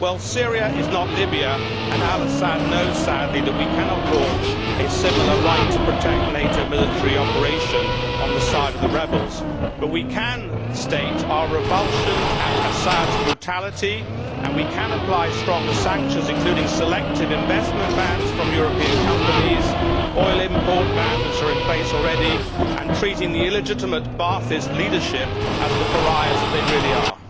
Syria is not Libya and, sadly, al Assad knows that we cannot launch a similar right to protect NATO military operation on the side of the rebels, but we can state our revulsion at Assad's brutality, and we can apply stronger sanctions, including selective bans on investment from European companies and oil import bans, which are in place already, and we can treat the illegitimate Ba'athist leadership as the pariahs that they really are.